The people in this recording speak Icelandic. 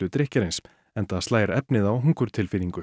drykkjarins enda slær efnið á